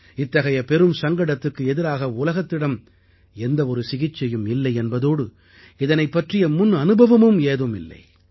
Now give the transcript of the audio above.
இத்தகைய பெரும் சங்கடத்துக்கு எதிராக உலகத்திடம் எந்த ஒரு சிகிச்சையும் இல்லை என்பதோடு இதனைப் பற்றிய முன் அனுபவமும் ஏதும் இல்லை